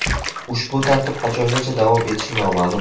Ushbu tartib qachongacha davom etishi noma’lum.